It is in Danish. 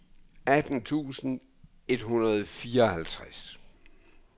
atten tusind et hundrede og fireoghalvtreds